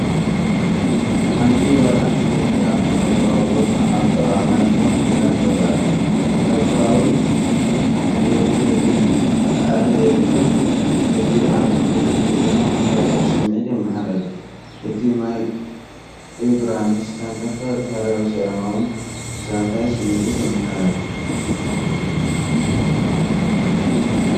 ሓንቲ ጓል ኣንስተይቲ ኣብ ተፈጥሮኣዊ ቦታ ኣብ ጥቓ ማይ ኮፍ ኢላ ትርአ። ሕብራዊን ዝውሕዝን ጻዕሪ ዘይብሉን ቅዲኣ ምቾትን ብድሆን ዝፈጥር ስምዒት የመሓላልፍ። እቲ ማይ እግራ ምስ ተንከፈ፡ ባህርያዊ፡ ሰላማዊ፡ ዘዛንይ ስምዒት ይመሓላለፍ።